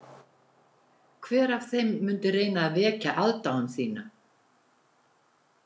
Hver af þeim mundi reyna að vekja aðdáun þína?